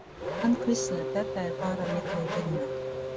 Hann hvíslar, þetta er bara milli vina.